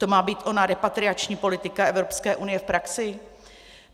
To má být ona repatriační politika Evropské unie v praxi?